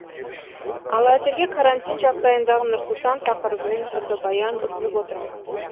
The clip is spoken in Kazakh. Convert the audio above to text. ал әзірге карантин жағдайындағы нұр сұлтан тақырыбымен фотобаян ұсынып отырмыз